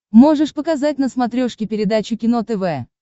можешь показать на смотрешке передачу кино тв